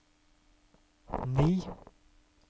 ni